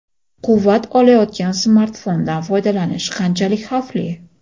Quvvat olayotgan smartfondan foydalanish qanchalik xavfli?.